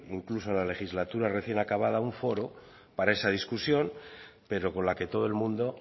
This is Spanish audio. incluso en la legislatura recién acabada un foro para esa discusión pero con la que todo el mundo